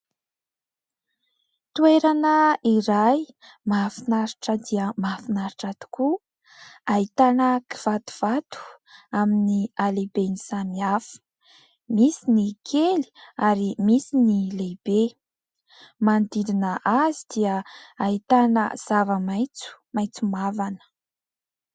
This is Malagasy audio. Toerana iray, mahafinaritra dia mahafinaritra tokoa. Ahitana kivatovato amin'ny halehibeny samy hafa. Misy ny kely ary misy ny lehibe. Manodidina azy dia ahitana zava-maitso, maitso mavana.